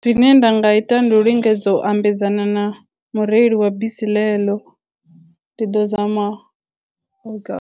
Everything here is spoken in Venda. Zwine nda nga ita ndi u lingedza u ambedzana na mureli wa bisi ḽe ḽo, ndi ḓo zama .